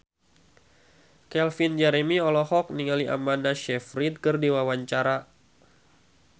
Calvin Jeremy olohok ningali Amanda Sayfried keur diwawancara